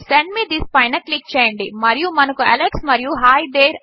send me this పైన click చేయండి మరియు మనకు అలెక్స్ మరియు హి తేరే